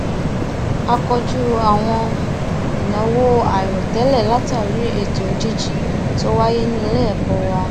a kojú àwọn ìnáwó àìròtẹlẹ látàri ètò òjijì tó wáyé ní iléẹkọ wa